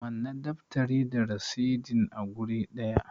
Manne daftari da rasidin a guri ɗaya!